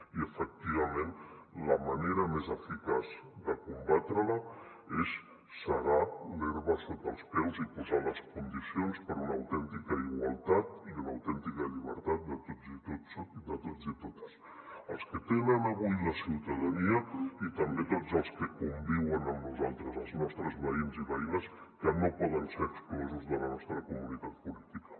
i efectivament la manera més eficaç de combatre la és segar l’herba sota els peus i posar les condicions per a una autèntica igualtat i una autèntica llibertat de tots i totes els que tenen avui la ciutadania i també tots els que con viuen amb nosaltres els nostres veïns i veïnes que no poden ser exclosos de la nostra comunitat política